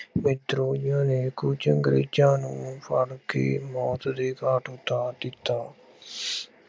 ਵਿਦਰੋਹੀਆਂ ਨੇ ਕੁੱਝ ਅੰਗਰੇਜ਼ਾਂ ਨੂੰ ਫੜ੍ਹਕੇ ਮੌਤ ਦੇ ਘਾਟ ਉਤਾਰ ਦਿੱਤਾ।